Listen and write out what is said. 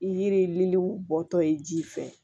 I yiriw bɔtɔ ye ji fɛ